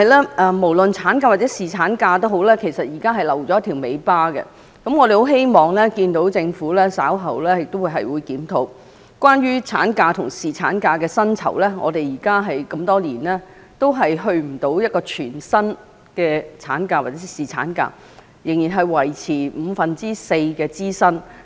然而，不論產假或侍產假，現在政府卻留下了一條"尾巴"，我們希望政府稍後會檢討產假及侍產假的薪酬，因為多年以來，都未能達到全薪的產假或侍產假，仍然只停留在五分之四支薪的階段。